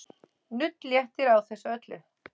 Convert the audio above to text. Nudd léttir á þessu öllu.